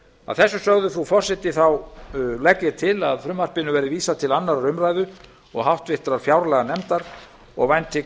að þessu sögðu frú forseti legg ég til að frumvarpinu verði vísað til annarrar umræðu og háttvirtrar fjárlaganefndar og vænti